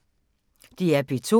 DR P2